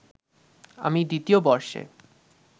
আমি দ্বিতীয় বর্ষে